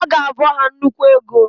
Aga abọ ha nnukwu ego.